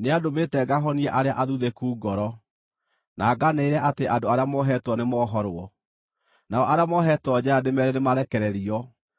Nĩandũmĩte ngahonie arĩa athuthĩku ngoro, na ngaanĩrĩre atĩ andũ arĩa mohetwo nĩmohorwo, nao arĩa mohetwo njeera ndĩmeere nĩmarekererio,